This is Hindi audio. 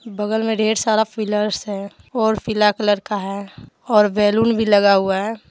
बगल में ढेर सारा पिलर्स है और पीला कलर का है और बैलून भी लगा हुआ है।